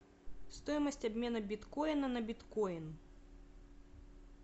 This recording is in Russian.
стоимость обмена биткоина на биткоин